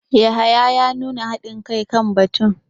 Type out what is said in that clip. Yahaya ya nuna hadin kai kan batun.